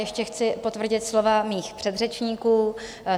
Ještě chci potvrdit slova mých předřečníků.